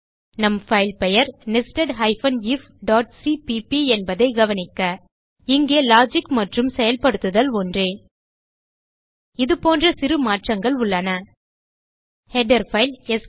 நம் fileபெயர் nested ifசிபிபி என்பதைக் கவனிக்க இங்கே லாஜிக் மற்றும் செயல்படுத்துதல் ஒன்றே இதுபோன்ற சிறு மாற்றங்கள் உள்ளன ஹெடர் பைல்